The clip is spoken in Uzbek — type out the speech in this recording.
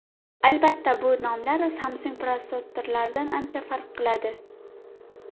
Albatta, bu nomlar Samsung protsessorlaridan ancha farq qiladi.